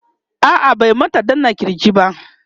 a'a bai mata danna kirji ba